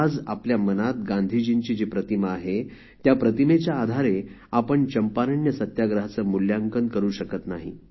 आज आपल्या मनात गांधीजींची जी प्रतिमा आहे त्या प्रतिमेच्या आधारे आपण चंपारण्य सत्याग्रहाचे मूल्यांकन करू शकत नाही